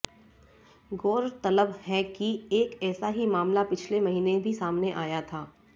गौरतलब है कि एक ऐसा ही मामला पिछले महीने भी सामने आया था